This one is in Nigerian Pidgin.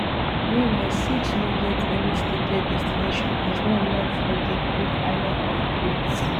meanwhile six no get any stated destination as one land for di greek island of crete